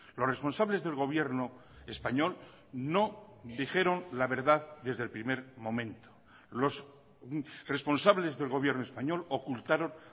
los responsables del gobierno español no dijeron la verdad desde el primer momento los responsables del gobierno español ocultaron